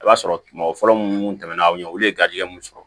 I b'a sɔrɔ mɔgɔ fɔlɔ munnu tɛmɛ na aw ɲɛ olu ye garijɛgɛ mun sɔrɔ